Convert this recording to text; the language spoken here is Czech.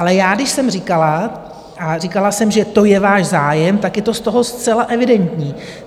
Ale já, když jsem říkala, a říkala jsem, že to je váš zájem, tak je to z toho zcela evidentní.